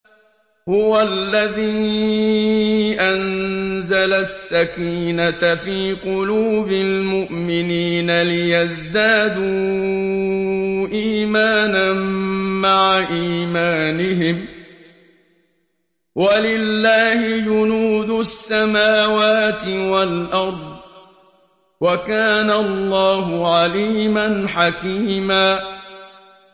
هُوَ الَّذِي أَنزَلَ السَّكِينَةَ فِي قُلُوبِ الْمُؤْمِنِينَ لِيَزْدَادُوا إِيمَانًا مَّعَ إِيمَانِهِمْ ۗ وَلِلَّهِ جُنُودُ السَّمَاوَاتِ وَالْأَرْضِ ۚ وَكَانَ اللَّهُ عَلِيمًا حَكِيمًا